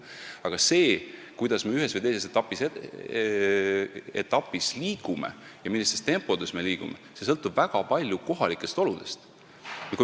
Aga see, kuidas me ühes või teises etapis liigume ja millises tempos me liigume, sõltub väga palju kohalikest oludest.